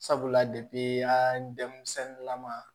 Sabula denmisɛnnin lama